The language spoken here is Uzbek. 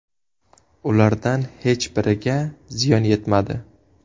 Ulardan hech biriga ziyon yetmadi.